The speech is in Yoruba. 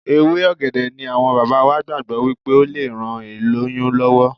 Ewé ọ̀gẹ̀dẹ̀ ni àwọn bàbá wa gbàgbọ́ wípé ó le ran ìlóyún lọ́wọ́.